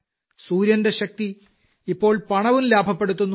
സൂര്യന്റെ ശക്തി ഇപ്പോൾ പണവും ലാഭപ്പെടുത്തുന്നു